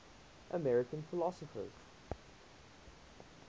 american philosophers